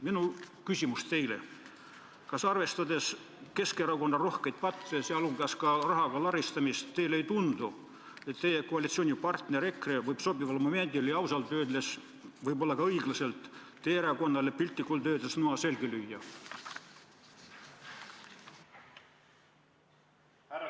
Minu küsimus teile: kas arvestades Keskerakonna rohkeid patte, sh rahaga laristamist, teile ei tundu, et teie koalitsioonipartner EKRE võib sobival momendil – ja ausalt öeldes võib-olla ka õiglaselt – teie erakonnale piltlikult öeldes noa selga lüüa?